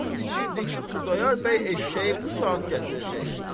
And içirdi ki, Xudayar bəy eşşəyi bu saat gətirəcək.